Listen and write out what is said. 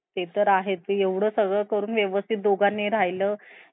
तस बोलला पाहिजे हा का